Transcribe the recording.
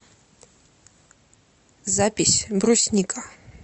запись брусника